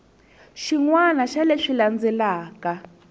xin wana xa leswi landzelaka